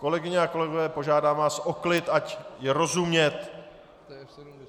Kolegyně a kolegové, požádám vás o klid, ať je rozumět.